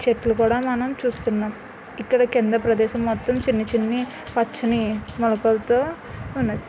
చెట్లు గూడా మనం చూస్తున్నాం.ఇక్కడ కింద ప్రదేశం మొత్తం చిన్న చిన్ని పచ్చని మొలకలతో ఉన్నయి.